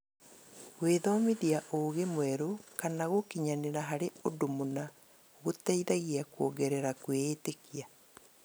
Gwĩthomithia ũũgĩ mwerũ kana gũkinyanĩra harĩ ũndũ mũna gũteithagia kuongerera kwĩĩtĩkia.